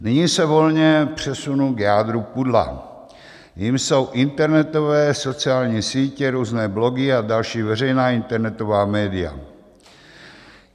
Nyní se volně přesunu k jádru pudla, jímž jsou internetové sociální sítě, různé blogy a další veřejná internetová média.